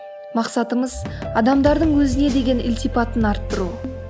мақсатымыз адамдардың өзіне деген ілтипатын арттыру